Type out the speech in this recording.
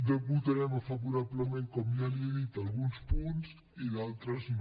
votarem favorablement com ja li he dit alguns punts i d’altres no